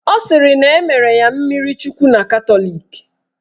Ọ sịrị na emere ya mmirichukwu na Katọlik